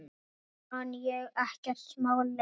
Mann sem ekkert má lengur.